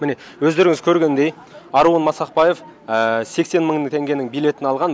міне өздеріңіз көргендей аруын масақбаев сексен мың теңгенің билетін алған